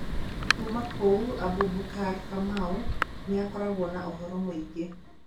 Kuuma kũu Aboubakar Famau nĩ akoragwo na ũhoro mũingĩ.